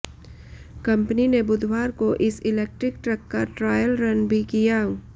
company ने बुधवार को इस इलेक्ट्रिक ट्रक का ट्रायल रन भी किया